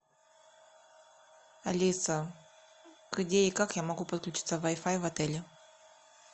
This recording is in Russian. алиса где и как я могу подключиться к вай фай в отеле